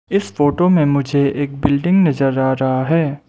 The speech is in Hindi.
इस फोटो में मुझे एक बिल्डिंग नजर आ रहा है।